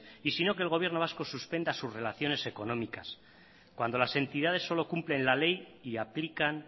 y sino que el gobierno vasco suspenda sus relaciones económicas cuando las entidades solo cumplen la ley y aplican